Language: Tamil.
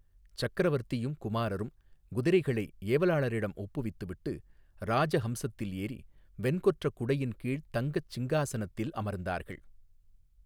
சக்கரவர்த்தியும் குமாரரும் குதிரைகளை ஏவலாளரிடம் ஒப்புவித்துவிட்டு இராஜ ஹம்சத்தில் ஏறி வெண்கொற்றக் குடையின் கீழ்த் தங்கச் சிங்காசனத்தில் அமர்ந்தார்கள்.